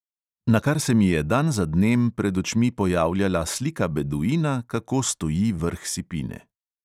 Nakar se mi je dan za dnem pred očmi pojavljala slika beduina, kako stoji vrh sipine.